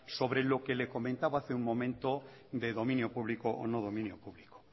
sobre lo que le comentaba hace un momento de dominio público o no dominio público